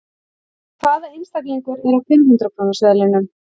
Hvaða einstaklingur er á fimm hundrað króna seðlinum?